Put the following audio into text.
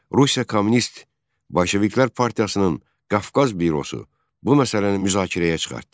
Rusiya Kommunist Bolşeviklər Partiyasının Qafqaz bürosu bu məsələni müzakirəyə çıxartdı.